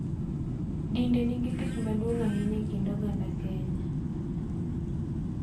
Dinde nigi tich maduong� ahinya e kind oganda Kenya.